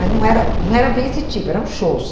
Mas não era não era bem esse tipo, eram shows.